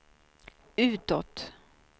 utåt